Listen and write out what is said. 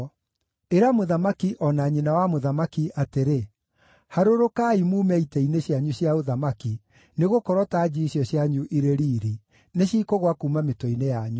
Ĩra mũthamaki o na nyina wa mũthamaki atĩrĩ, “Harũrũkai mume itĩ-inĩ cianyu cia ũthamaki, nĩgũkorwo tanji icio cianyu irĩ riiri nĩcikũgũa kuuma mĩtwe-inĩ yanyu.”